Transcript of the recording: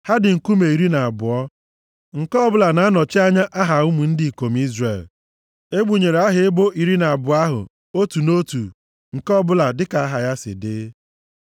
Ha dị nkume iri na abụọ, nke ọbụla na-anọchi anya aha ụmụ ndị ikom Izrel. Egbunyere aha ebo iri na abụọ ahụ, otu nʼotu, nke ọbụla dịka aha ya si dị.